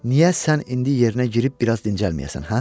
Niyə sən indi yerinə girib biraz dincəlməyəsən, hə?